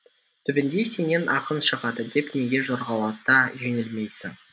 түбінде сенен ақын шығады деп неге жорғалата жөнелмейсің